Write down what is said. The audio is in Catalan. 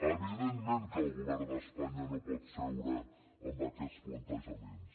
evidentment que el govern d’espanya no pot seure amb aquests plantejaments